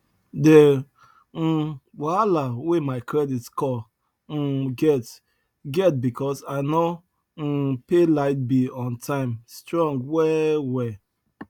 the um wahala wey my credit score um get get because i no um pay light bill on time strong well well